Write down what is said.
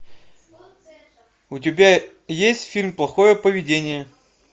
у тебя есть фильм плохое поведение